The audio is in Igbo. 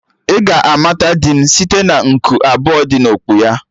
Ị ga-amata di m site na nku abụọ dị na okpu ya